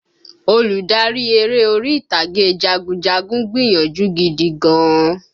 Olùdarí eré orí ìtàgé jagunjagun gbìyànjú gidi gan-an